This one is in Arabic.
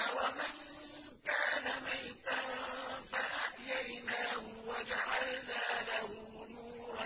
أَوَمَن كَانَ مَيْتًا فَأَحْيَيْنَاهُ وَجَعَلْنَا لَهُ نُورًا